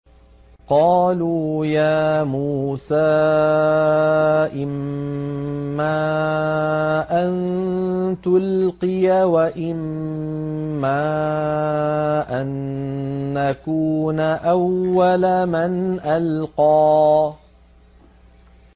قَالُوا يَا مُوسَىٰ إِمَّا أَن تُلْقِيَ وَإِمَّا أَن نَّكُونَ أَوَّلَ مَنْ أَلْقَىٰ